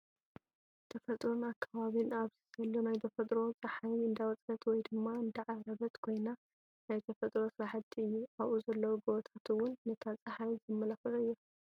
ተፈጥሮን ኣከባቢን፦ ኣብዚ ዘሎ ናይ ተፈጥሮ ፀሓይ እንዳወፀት ወይ ድማ እንዳዓረብ ኮይና ናይ ተፈጥሮ ስራሕቲ እዩ። ኣብኡ ዘለው ጎቦታት እውን ንታ ፀሓይ ዘማላኽዑ እዮም።